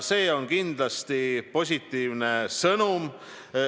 See on kindlasti positiivne sõnum.